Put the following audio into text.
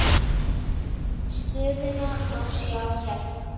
Stöðuna má sjá hérna.